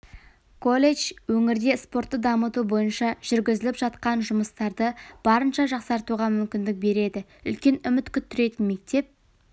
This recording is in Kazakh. колледж өңірде спортты дамыту бойынша жүргізіліп жатқан жұмыстарды барынша жақсартуға мүмкіндік береді үлкен үміт күттіретін мектеп